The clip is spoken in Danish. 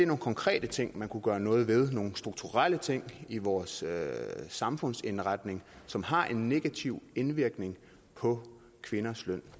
nogle konkrete ting man kunne gøre noget ved det nogle strukturelle ting i vores samfundsindretning som har en negativ indvirkning på kvinders løn